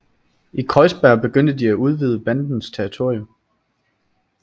I Kreuzberg begyndte de at udvide bandens territorium